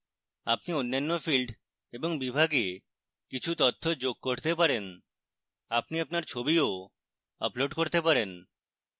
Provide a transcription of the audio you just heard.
আপনি অন্যান্য fields এবং বিভাগে কিছু তথ্য যোগ করতে পারেন আপনি আপনার ছবিও upload করতে পারেন